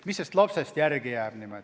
Mis sellest lapsest niimoodi järele saab?